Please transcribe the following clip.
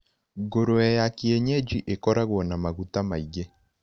Ngũrũwe ya kienyeji ĩkoragwo na maguta maingĩ.